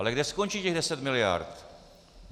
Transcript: Ale kde skončí těch deset miliard?